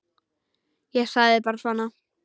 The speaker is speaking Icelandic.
Ég sagði bara svona.